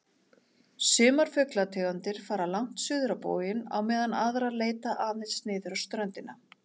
Sumar fuglategundir fara langt suður á boginn á meðan aðrar leita aðeins niður á ströndina.